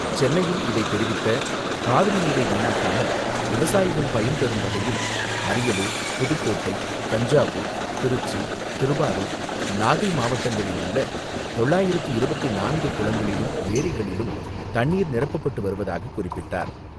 சென்னையில் இதை தெரிவித்த காவிரி நீரை வீணாக்காமல் விவசாயிகள் பயன்பெறும் வகையில், அரியலூர், புதுக்கோட்டை, தஞ்சாவூர், திருச்சி, திருவாரூர், நாகை மாவட்டங்களிலுள்ள தொள்ளாயிரத்து இருபத்து நான்கு குளங்களிலும், ஏரிகளிலும், தண்ணீர் நிரப்பப்பட்டு வருவதாக குறிப்பிட்டார்.